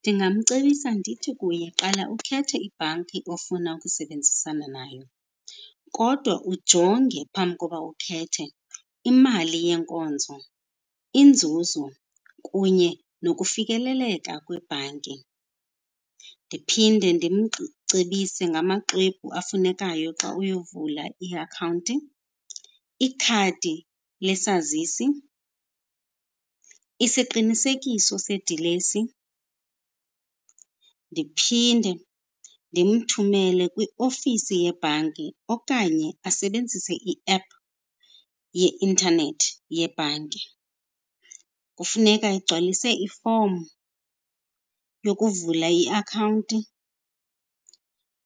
Ndingamcebisa ndithi kuye, qala ukhethe ibhanki ofuna ukusebenzisana nayo kodwa ujonge phambi kokuba ukhethe imali yeenkonzo, inzuzo, kunye nokufikeleleka kwebhanki. Ndiphinde ndimcebise ngamaxwebhu afunekayo xa uyovula iakhawunti, ikhadi lesazisi, isiqinisekiso sedilesi. Ndiphinde ndimthumele kwiofisi yebhanki okanye asebenzise i-app yeintanethi yebhanki. Kufuneka egcwalise ifomu yokuvula iakhawunti